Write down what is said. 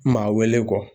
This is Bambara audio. Maa wele kɔ